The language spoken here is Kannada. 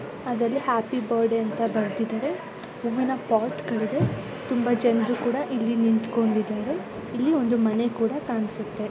ಅದರಲ್ಲಿ ಹ್ಯಾಪಿ ಬರ್ತ್ಡೇ ಅಂತ ಬರೆದಿದರೆ ಹೂವಿನ ಪಾಟ್ಗ ಳು ತುಂಬಾ ಜನರು ಕೂಡ ನಿಂತುಕೊಂಡಿದರೆ ಇಲ್ಲಿ ಒಂದು ಮನೆ ಕೂಡ ಕಾಣಿಸುತ್ತೆ .